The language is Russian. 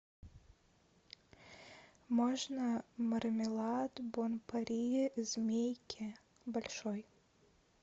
можно мармелад бон пари змейки большой